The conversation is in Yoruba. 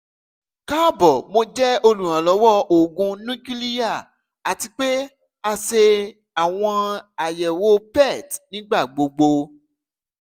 kaabo mo jẹ oluranlọwọ oogun nukiliya ati pe a ṣe awọn ayẹwo pet nigbagbogbo